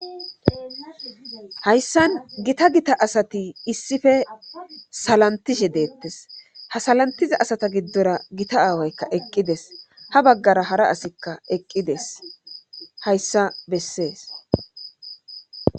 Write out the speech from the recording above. hayssan gita gita asati issippe salantishe deettes ha salantiza asata giddora gita aawaykka eqqides ha baggara hara asikka eqqides hayssa bessees